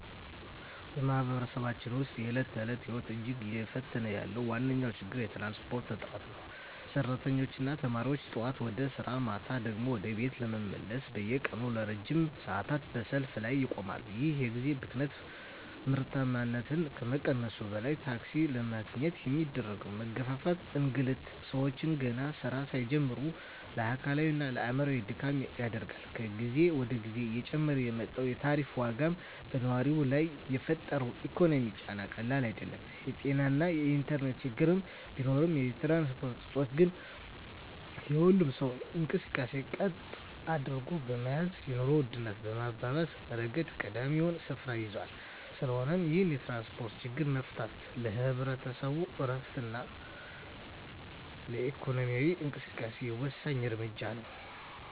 በማኅበረሰባችን ውስጥ የዕለት ተዕለት ሕይወትን እጅግ እየፈተነ ያለው ዋነኛው ችግር የትራንስፖርት እጥረት ነው። ሠራተኞችና ተማሪዎች ጠዋት ወደ ሥራ፣ ማታ ደግሞ ወደ ቤት ለመመለስ በየቀኑ ለረጅም ሰዓታት በሰልፍ ላይ ይቆማሉ። ይህ የጊዜ ብክነት ምርታማነትን ከመቀነሱም በላይ፣ ታክሲ ለማግኘት የሚደረገው መጋፋትና እንግልት ሰዎችን ገና ሥራ ሳይጀምሩ ለአካላዊና አእምሮአዊ ድካም ይዳርጋል። ከጊዜ ወደ ጊዜ እየጨመረ የመጣው የታሪፍ ዋጋም በነዋሪው ላይ የፈጠረው ኢኮኖሚያዊ ጫና ቀላል አይደለም። የጤናና የኢንተርኔት ችግሮች ቢኖሩም፣ የትራንስፖርት እጦት ግን የሁሉንም ሰው እንቅስቃሴ ቀጥ አድርጎ በመያዝ የኑሮ ውድነቱን በማባባስ ረገድ ቀዳሚውን ስፍራ ይይዛል። ስለሆነም ይህንን የትራንስፖርት ችግር መፍታት ለህዝቡ ዕረፍትና ለኢኮኖሚው እንቅስቃሴ ወሳኝ እርምጃ ነው።